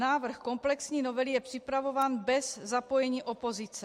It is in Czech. Návrh komplexní novely je připravován bez zapojení opozice.